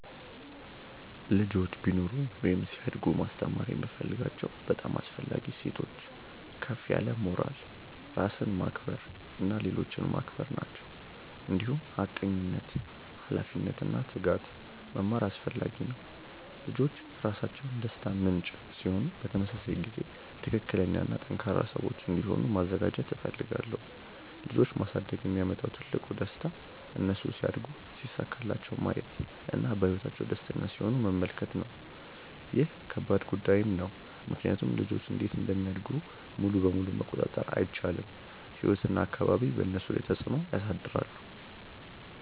ልጆች ቢኖሩኝ ወይም ሲያድጉ ማስተማር የምፈልጋቸው በጣም አስፈላጊ እሴቶች ከፍ ያለ ሞራል፣ ራስን ማክበር እና ሌሎችን ማክበር ናቸው። እንዲሁም ሐቀኝነት፣ ኃላፊነት እና ትጋት መማር አስፈላጊ ነው። ልጆች ራሳቸው ደስታ ምንጭ ሲሆኑ በተመሳሳይ ጊዜ ትክክለኛ እና ጠንካራ ሰዎች እንዲሆኑ ማዘጋጀት እፈልጋለሁ። ልጆች ማሳደግ የሚያመጣው ትልቁ ደስታ እነሱ ሲያድጉ ሲሳካላቸው ማየት እና በህይወታቸው ደስተኛ ሲሆኑ መመልከት ነው። ይህ ከባድ ጉዳይም ነው ምክንያቱም ልጆች እንዴት እንደሚያድጉ ሙሉ በሙሉ መቆጣጠር አይቻልም፤ ህይወት እና አካባቢ በእነሱ ላይ ተፅዕኖ ያሳድራሉ።